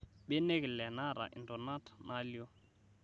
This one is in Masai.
Mbenek ilee naata intonaat nalio.